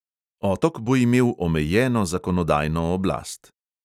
Otok bo imel omejeno zakonodajno oblast.